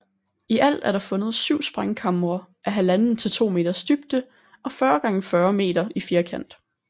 I alt er der fundet syv sprængkamre af halvanden til to meters dybde og 40 x 40 meter i firkant